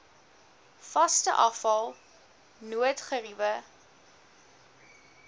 vaste afval noodgeriewe